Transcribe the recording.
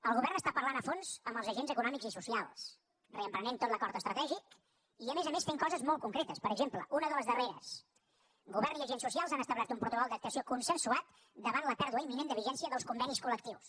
el govern està parlant a fons amb els agents econòmics i socials reprenent tot l’acord estratègic i a més a més fent coses molt concretes per exemple una de les darreres govern i agents socials han establert un protocol d’actuació consensuat davant la pèrdua imminent de vigència dels convenis col·lectius